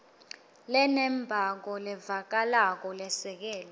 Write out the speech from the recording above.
lenembako levakalako lesekelwe